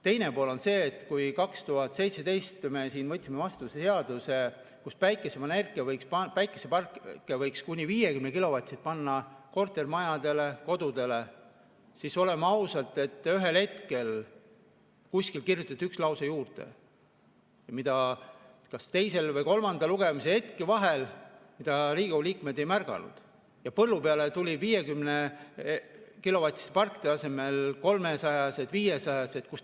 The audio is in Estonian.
Teine pool on see, et kui 2017 me võtsime vastu seaduse, et kuni 50‑kilovatiseid päikeseparke võiks panna kortermajadele, kodudele, siis oleme ausad, ühel hetkel kuskile kirjutati üks lause juurde, mida teise ja kolmanda lugemise vahel Riigikogu liikmed ei märganud, ja põllu peale tulid 50-kilovatiste parkide asemel kolmesajased, viiesajased.